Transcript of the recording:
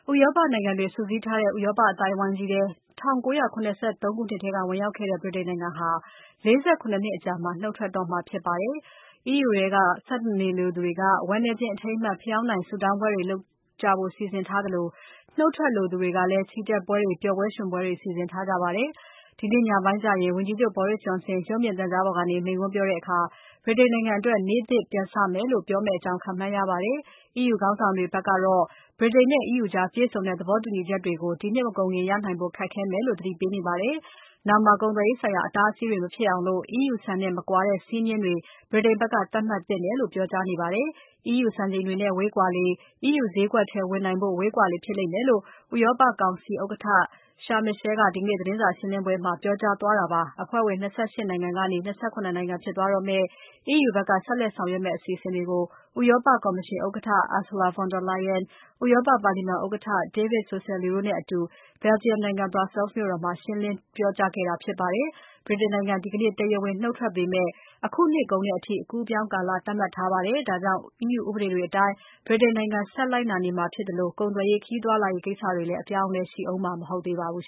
ဥရောပနိုင်ငံတွေ စုစည်းထားတဲ့ ဥရောပအသိုက်အဝိုင်းကြီးထဲ ၁၉၇၃ ခုနှစ်ထဲက ဝင်ရောက်ခဲ့တဲ့ ဗြိတိန်နိုင်ငံဟာ ၄၇ နှစ်အကြာမှာ နုတ်ထွက်တော့မှာ ဖြစ်ပါတယ်။ EU ထဲမှာ ဆက်နေလိုသူတွေက ဝမ်းနည်းခြင်း အထိမ်းအမှတ် ဖယောင်တိုင်ထွန်း ဆုတောင်းပွဲလုပ်ကြဖို့ စီစဉ်ထားသလို နုတ်ထွက်လိုသူတွေကလည်း ချီတက်ပွဲတွေ၊ ပျော်ပွဲရွှင်ပွဲတွေ စီစဉ်ထားကြပါတယ်။ ဒီနေ့ညပိုင်းကျရင် ဝန်ကြီးချုပ် Boris Johnson က ရုပ်သံပေါ်ကနေ မိန့်ခွန်းပြောတဲ့အခါ ဗြိတိန်နိုင်ငံအတွက် နေ့သစ်ပြန်စမယ်လို့ ပြောမယ်လို့ ခန့်မှန်းရပါတယ်။ EU ခေါင်းဆောင်တွေဘက်ကတော့ ဗြိတိန်နဲ့ EU ကြားပြည့်စုံတဲ့ သဘောတူညီချက်တွေကို ဒီနှစ်မကုန်ခင် ရနိုင်ဖို့ ခက်ခဲမယ်လို့ သတိပေးပါတယ်။ နောင်မှာ ကုန်သွယ်ရေးဆိုင်ရာ အတားအဆီးတွေ မဖြစ်အောင် EU စံနဲ့မကွာတဲ့ စည်းမျဉ်းတွေ ဗြိတိန်က သတ်မှတ်သင့်တယ်လို့ ပြောကြားခဲ့ကြပါတယ်။ EU စံချိန်တွေနဲ့ ဝေးကွာလေ EU ဈေးကွက်ထဲကို ဝင်နိုင်ဖို့ ဝေးကွာလေဖြစ်မယ်လို့ ဥရောပကောင်စီဥက္ကဋ္ဌ Charles Michel က ဒီကနေ့ သတင်းစာရှင်းပွဲမှာ ပြောကြားခဲ့ပါတယ်။ အဖွဲ့ဝင် ၂၈ နိုင်ငံကနေ ၂၇ နိုင်ငံ ဖြစ်သွားတော့မယ့် EU ဘက်က ဆက်လက်ဆောင်ရွက်မယ့် အစီအစဉ်တွေကို ဥရောပကော်မရှင် Ursula von der Leyen ဥရောပပါလီမာန်ဥက္ကဋ္ဌ David Sassoli တို့နဲ့အတူ Belgium နိုင်ငံ Brussels မြို့တော်မှာ ရှင်းလင်းပြခဲ့တာ ဖြစ်ပါတယ်။ ဗြိတိန်နိုင်ငံ ဒီကနေ့ တရားဝင် နုတ်ထွက်ပေမဲ့ အခုနှစ်ကုန်အထိ အကူးအပြောင်းကာလ သတ်မှတ်ထားပါတယ်။ အခုနှစ် ဒီဇင်ဘာ ၃၁ ရက်နေ့အထိ EU ဥပဒေတွေအတိုင်း ဗြိတိန်နိုင်ငံ ဆက်လိုက်နာမှာဖြစ်တဲ့အတွက် ကုန်သွယ်ရေး၊ ခရီးသွားလာရေးကိစ္စတွေ အပြောင်းအလဲ ရှိဦးမှာ မဟုတ်ပါဘူး။